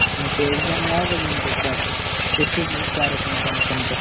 ಮತ್ತೆ exam ಯಾವಾಗದಿಂದ start ಎಷ್ಟು ತಾರೀಕಿನ ತನಕ ಉಂಟು?